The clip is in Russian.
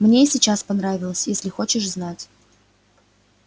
мне и сейчас понравилось если хочешь знать